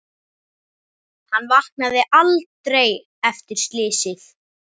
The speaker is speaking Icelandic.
Hann vaknaði aldrei eftir slysið.